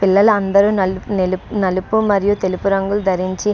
పిల్లలందరూ నలుప నిలుపు నలుపు మరియు తెలుపు రంగులు ధరించి --